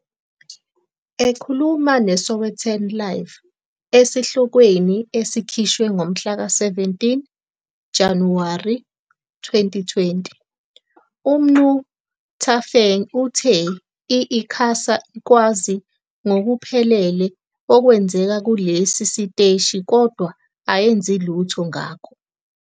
Ekhuluma neSowetan LIVE esihlokweni esikhishwe ngomhlaka 17 Januwari 2020, uMnu Thafeng uthe i-ICASA ikwazi ngokuphelele okwenzeka kulesi siteshi kodwa ayenzi lutho ngakho.